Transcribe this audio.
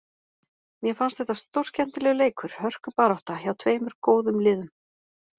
Mér fannst þetta stórskemmtilegur leikur, hörkubarátta, hjá tveimur góðum liðum.